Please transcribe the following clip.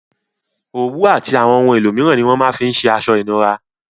Òwú àti àwon oun elo míràn ni wón ma fin se aso ìnura